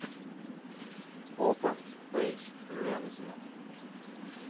опен пейдж лензман